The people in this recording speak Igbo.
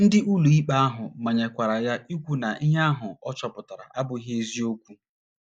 Ndị ụlọikpe ahụ manyekwara ya ikwu na ihe ahụ ọ chọpụtara abụghị eziokwu.